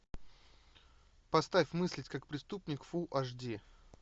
поставь мыслить как преступник фул аш ди